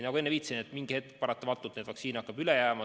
Nagu enne viitasin, et mingi hetk paratamatult vaktsiini hakkab üle jääma.